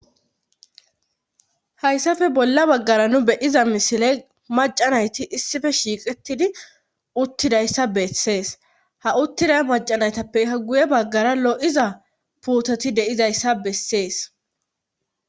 Hayssafe bolla baggara nu beyiza misiley macanayti issife shiiqettidi uttidayssa bessees ha uttida macanaytappeka guye baggara lo7iza puutoti deizayssa bessees.